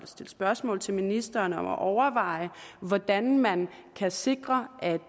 stille spørgsmål til ministeren om at overveje hvordan man kan sikre at